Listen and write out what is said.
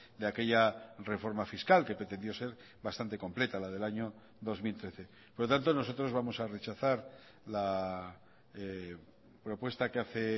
de aquella reforma fiscal que pretendió ser bastante completa la del año dos mil trece por lo tanto nosotros vamos a rechazar la propuesta que hace